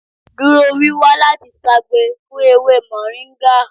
Duro wiwa lati ṣagbe fun ewe moringa!